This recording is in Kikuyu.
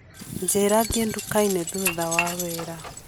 njĩra thiĩ nduka-inĩ thutha wa wĩra